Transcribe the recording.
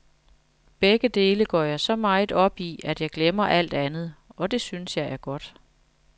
Begge dele går jeg så meget op i, at jeg glemmer alt andet, og det synes jeg er godt.